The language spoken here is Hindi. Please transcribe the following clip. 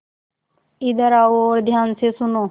इधर आओ और ध्यान से सुनो